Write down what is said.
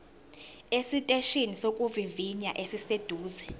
esiteshini sokuvivinya esiseduze